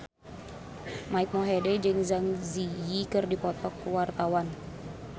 Mike Mohede jeung Zang Zi Yi keur dipoto ku wartawan